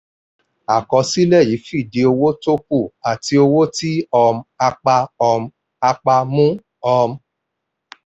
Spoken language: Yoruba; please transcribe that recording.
àkọsílẹ̀ yìí fìdí owó tó kù àti owó tí um a pa um a pa mú. um